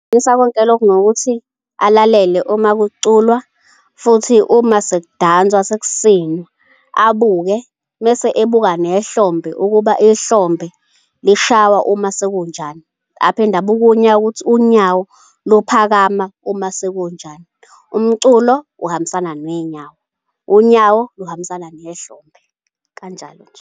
konke lokhu ngokuthi alalele uma kuculwa, futhi uma sekudanswa sekusinwa, abuke mese ebuka nehlombe ukuba ihlombe lishaywa uma sekunjani, aphinde abuke unyawo ukuthi unyawo luphakama uma sekunjani. Umculo uhambisana nenyawo, unyawo luhambisana nehlombe kanjalo nje.